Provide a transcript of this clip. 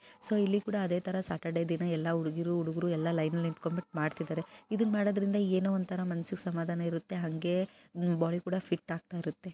so ಇಲ್ಲಿಕೂಡ ಅದೆ ತರ ಸಾಟರ್ಡೆ ದಿನ ಎಲ್ಲಾ ಹುಡುಗ ಹುಡುಗಿರು ಎಲ್ಲಾ ಲೈನ್ ನಲ್ಲಿ ನಿಂತ್ಕೊಂಡು ಬಿಟ್ಟು ಮಾಡ್ತಾ ಇದಾರೆ ಇದನ್ನ ಮಾಡೋದ್ರಿಂದ ದೇಹಕ್ಕೆ ಚೆನ್ನಾಗಿರುತ್ತೆ ಆಮೇಲೆ ಬಾಡಿ ಕೂಡ ಫಿಟ್ ಆಗಿರುತ್ತೆ